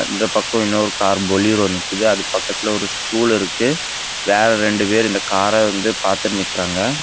இந்த பக்கம் இன்னொரு கார் பொலிரோ நிக்குது அது பக்கத்துலெ ஒரு ஸ்டூல் இருக்கு வேற ரெண்டு பேரு இந்த காரை வந்து பாத்து நிக்குறாங்க.